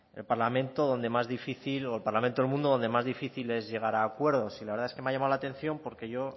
el parlamento donde más difícil o el parlamento del mundo donde más difícil es llegar a acuerdos y la verdad es que me ha llamado la atención porque yo